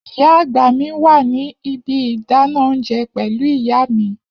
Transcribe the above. Iya agba mi wa ni ibi idana ounjẹ pẹlu iya mi.